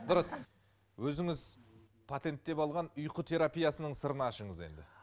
дұрыс өзіңіз патенттеп алған ұйқы терапиясының сырын ашыңыз енді